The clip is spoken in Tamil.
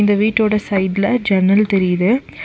இந்த வீட்டோட சைடுல ஜன்னல் தெரியுது.